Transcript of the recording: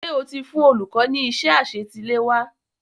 Ṣé o ti fụn olùkọ́ ní iṣẹ́ àṣetiléwá?